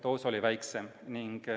Doos oli väiksem.